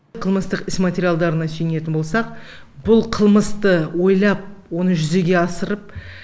қылмыстық іс материалдарына сүйенетін болсақ бұл қылмысты ойлап оны жүзеге асырып